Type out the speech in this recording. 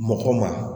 Mɔgɔ ma